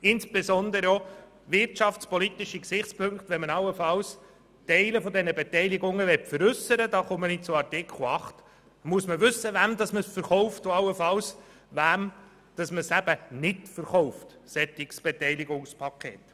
Und wenn man allenfalls Teile dieser Beteiligung veräussern will, muss man wissen, wem man ein solches Beteiligungspaket verkauft und wem allenfalls nicht.